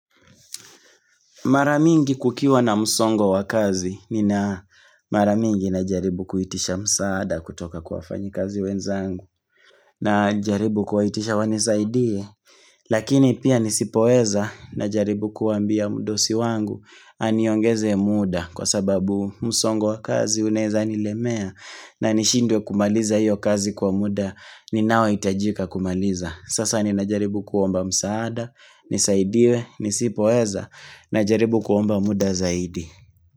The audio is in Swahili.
Mara mingi kukiwa na msongo wa kazi nina mara mingi na jaribu kuitisha msaada kutoka kwa wafanyikazi wenzangu na jaribu kuwaitisha wanisaidie lakini pia nisipoweza na jaribu kuambia mdosi wangu aniongeze muda kwa sababu msongo wa kazi unaweza nilemea na nishindwe kumaliza hiyo kazi kwa muda ninaohitajika kumaliza. Sasa ninajaribu kuomba msaada nisaidiwe, nisipoeza najaribu kuomba muda zaidi.